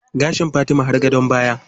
Gashin Fatima har gadon baya.